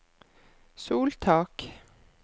soltak